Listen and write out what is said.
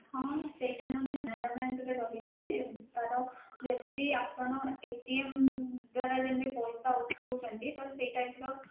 ହଁ ସେଇଟା ମଧ୍ୟ canara bank ରେ ରହିଛି ତା ର ଯେମିତି ଆପଣ ଦ୍ୱାରା ଯେମିତି ପଇସା ଉଠଉଛନ୍ତି ତ ସେଇ type ର